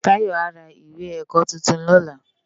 Tayo á rá iwé èkò tútún lòlá